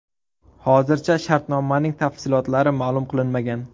Hozircha shartnomaning tafsilotlari ma’lum qilinmagan.